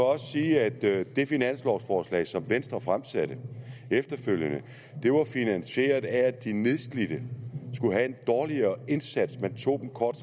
også sige at det finanslovsforslag som venstre fremsatte efterfølgende var finansieret af at de nedslidte skulle have en dårligere indsats man tog kort